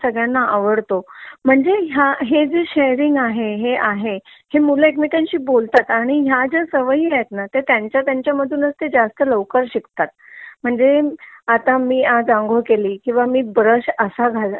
सगळ्याना आवडतो म्हणजे ह्या म्हणजे हे जे शेरिंग आहे हे मुलं एक मेकांशी बोलतात आणि ह्या जय सवयी आहेत ंना त्या त्यांचा तत्यांचा मधूनच तते जास्त लवकर शिकतात म्हणजे आता मी आज आंघोळ केली किंवा मी ब्रश असा